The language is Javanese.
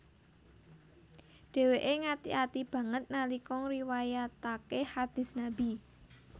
Dheweke ngati ati banget nalika ngriwayatake hadist Nabi